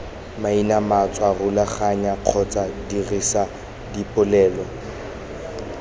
mainamatswa rulaganya kgotsa dirisa dipolelo